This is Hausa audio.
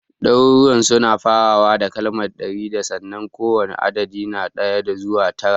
Daruruwan suna farawa da kalmar (ɗari da) sannan kowane adadi na ɗaya zuwa tara